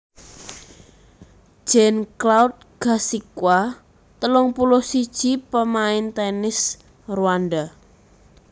Jean Claude Gasigwa telung puluh siji pamain tènis Rwanda